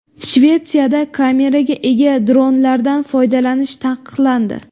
Shvetsiyada kameraga ega dronlardan foydalanish taqiqlandi.